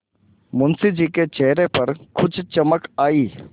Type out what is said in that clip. मुंशी जी के चेहरे पर कुछ चमक आई